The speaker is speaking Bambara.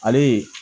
Ale ye